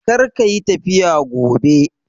Kar ka yi tafiya gobe!